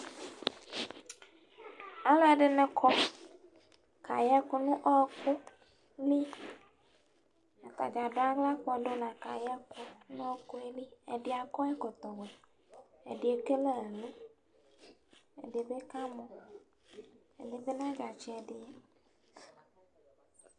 Alʋ ɛdɩnɩ kɔ, kayɛkʋ nʋ ɔkʋ liAtanɩ adʋaɣla kpɔdʋ la kayɛ kʋɛ nʋ ɔkʋɛ liƐdɩ akɔ ɛkɔtɔ wɛ, ɛdɩ ekele ɛlʋ, ɛdɩ bɩ ka mɔƐdɩ bɩ nadza tsɩ ɛdɩ